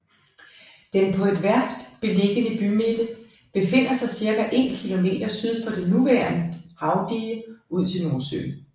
Den på et værft beliggende bymidte befinder sig cirka en kilometer syd for det nuværende havdige ud til Nordsøen